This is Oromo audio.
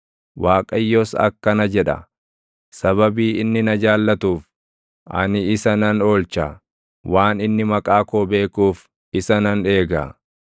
Waaqayyos akkana jedha; “Sababii inni na jaallatuuf, ani isa nan oolcha; waan inni maqaa koo beekuuf isa nan eega.